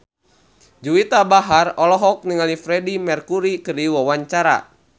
Juwita Bahar olohok ningali Freedie Mercury keur diwawancara